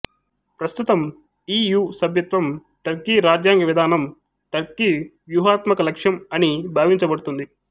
ప్రస్తుతం E U సభ్యత్వం Turkey రాజ్యాంగ విధానం టర్కీ వ్యూహాత్మక లక్ష్యం అని భావించబడుతుంది